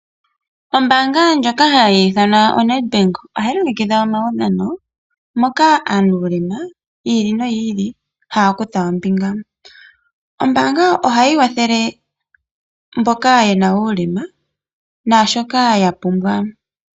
Ombaanga ndjoka ha yi ithanwa Nedbank ohayi longekidha omaudhano moka aanuulema yi ili noyi ili haya kutha ombinga. Ombaanga ohayi kwathele mboka ye na uulema naashoka ya pumbwa.